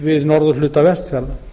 við norðurhluta vestfjarða